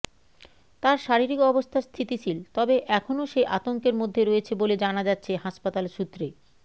তার শারীরিক অবস্থা স্হিতিশীল তবে এখনও সে আতঙ্কের মধ্যে রয়েছে বলে জানা যাচ্ছে হাসপাতাল সূত্রে